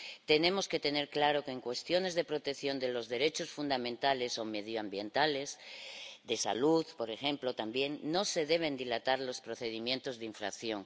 Tenemos que tener claro que, en cuestiones de protección de los derechos fundamentales o medioambientales, de salud, por ejemplo, también, no se deben dilatar los procedimientos de infracción.